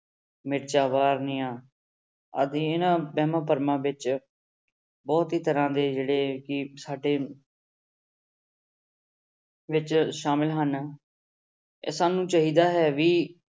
ਮਿਰਚਾਂ ਵਾਰਨੀਆਂ ਅਸੀਂ ਇਹਨਾਂ ਵਹਿਮਾਂ ਭਰਮਾਂ ਵਿੱਚ ਬਹੁਤ ਹੀ ਤਰ੍ਹਾਂ ਦੇ ਕਿ ਸਾਡੇ ਵਿੱਚ ਸ਼ਾਮਿਲ ਹਨ, ਤੇ ਸਾਨੂੰ ਚਾਹੀਦਾ ਹੈ ਵੀ